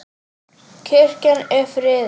Kirkjan er friðuð.